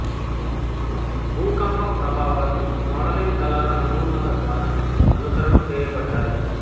భూకంపం ప్రభావాలు మోడలింగ్ దళాల నమూనాల ద్వారా అనుకరణ చేయబడ్డాయి